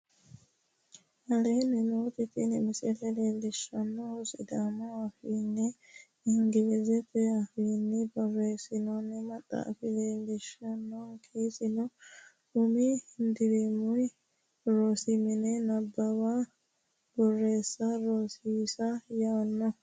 Aleenni nooti tini misile leellishaankehu siidhaamu afiinnina ingilizete afiinni boreessinoonni maxaafa leellishaanke isino umi dirimi rosi mine nabbawanna boreessa rosiisa yaanno